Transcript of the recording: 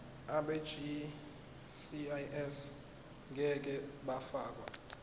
abegcis ngeke bafakwa